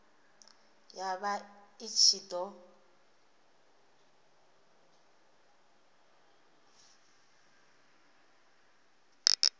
ya vha i ṱshi ḓo